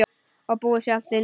Og búið sjálf til nýja.